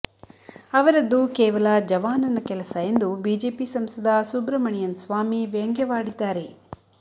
ಅವರದ್ದು ಕೇವಲ ಜವಾನನ ಕೆಲಸ ಎಂದು ಬಿಜೆಪಿ ಸಂಸದ ಸುಬ್ರಮಣಿಯನ್ ಸ್ವಾಮಿ ವ್ಯಂಗ್ಯವಾಡಿದ್ದಾರೆ